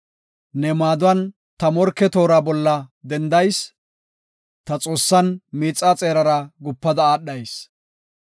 Ne maaduwan ta morke toora bolla dendayis; ta Xoossan miixaa xeerara gupada aadhayis.